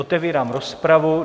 Otevírám rozpravu.